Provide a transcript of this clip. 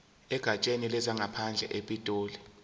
egatsheni lezangaphandle epitoli